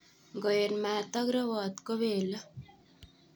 Ingoet mat ak rewot kobele.